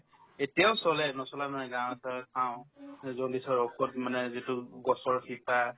এতিয়াও চলে নচলা নহয় গাঁৱত ধৰক পাও jaundice ৰ ঔষোধ মানে যিটো গছৰ শিপা